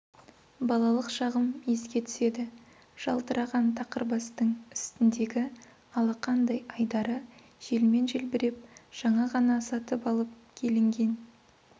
балалық шағым еске түседі жалтыраған тақырбастың үстіндегі алақандай айдары желмен желбіреп жаңа ғана сатып алып келінген